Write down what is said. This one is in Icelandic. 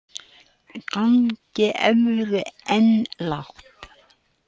Gengi evru enn lágt